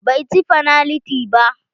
Bai ci fanaliti ba.